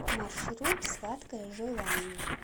маршрут сладкое желание